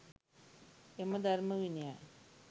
එම ධර්ම විනයයි